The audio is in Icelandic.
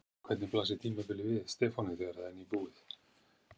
En hvernig blasir tímabilið við Stefáni þegar það er nýbúið?